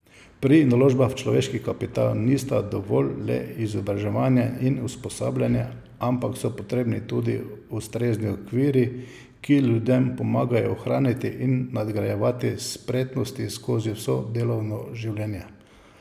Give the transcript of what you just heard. Pri naložbah v človeški kapital nista dovolj le izobraževanje in usposabljanje, ampak so potrebni tudi ustrezni okviri, ki ljudem pomagajo ohranjati in nadgrajevati spretnosti skozi vso delovno življenje.